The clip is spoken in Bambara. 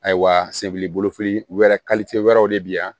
Ayiwa sebili bolo fili wɛrɛ wɛrɛw de bɛ yan